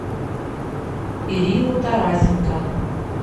ирину тарасенко